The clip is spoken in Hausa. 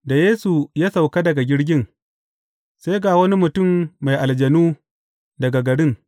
Da Yesu ya sauka daga jirgin, sai ga wani mutum mai aljanu daga garin.